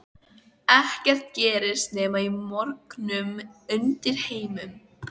Ekkert gerist nema í morknum undirheimum.